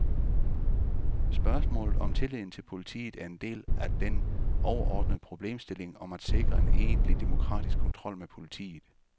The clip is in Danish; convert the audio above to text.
Spørgsmålet om tilliden til politiet er en del af den overordnede problemstilling om at sikre en egentlig demokratisk kontrol med politiet.